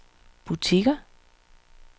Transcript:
butikker